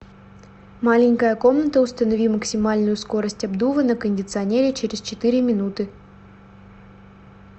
маленькая комната установи максимальную скорость обдува на кондиционере через четыре минуты